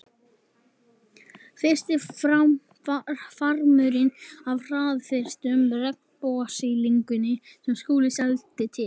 Fyrsti farmurinn af hraðfrystum regnbogasilungi sem Skúli seldi til